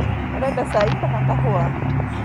ũrenda cai kana kahũa?